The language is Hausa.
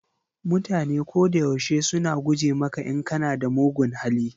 Mutane ko da yaushe suna guje maka in kana da mugun hali.